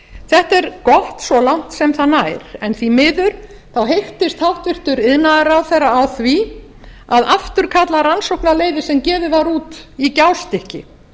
þetta er gott svo langt sem það nær en því miður heyktist hæstvirtur iðnaðarráðherra á því að afturkalla rannsóknarleyfi sem gefið var út í gjástykki